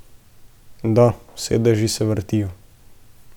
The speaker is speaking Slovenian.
Da, sedeži se vrtijo.